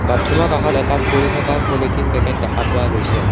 বাথোমৰ কাষত এটা পৰি থকা পলিথিন পেকেট দেখা পোৱা গৈছে।